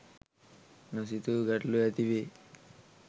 නොසිතූ ගැටලු ඇති වේ.